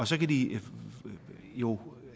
så kan de jo